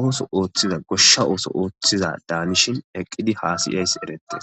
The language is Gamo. ooso oothizada daa ishin eqidi hasayizays eretees.